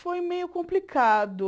Foi meio complicado.